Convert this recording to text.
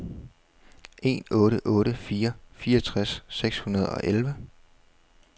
en otte otte fire fireogtres seks hundrede og elleve